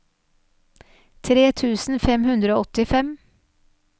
tre tusen fem hundre og åttifem